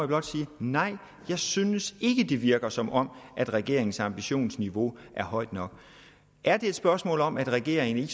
blot sige nej jeg synes ikke det virker som om regeringens ambitionsniveau er højt nok er det et spørgsmål om at regeringen